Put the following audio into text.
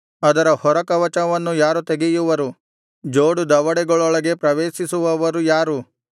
ಅದರ ಹೊರಕವಚವನ್ನು ಯಾರು ತೆಗೆಯುವರು ಜೋಡು ದವಡೆಗಳೊಳಗೆ ಪ್ರವೇಶಿಸುವವರು ಯಾರು